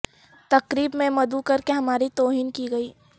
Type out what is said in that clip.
تقریب میں مدعو کر کے ہماری توہین کی گئی